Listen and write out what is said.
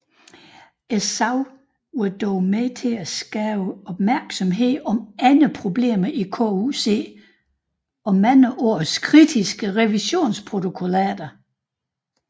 Sagen var dog med til at skabe opmærksomhed om andre problemer i KUC og mange års kritiske revisionsprotokollater